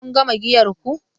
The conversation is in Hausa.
Kun gama giyar ku?